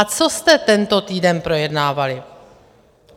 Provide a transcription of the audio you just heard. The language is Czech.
A co jste tento týden projednávali?